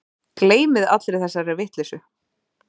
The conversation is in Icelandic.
Gleymið allri þessari vitleysu